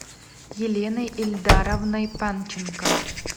еленой ильдаровной панченко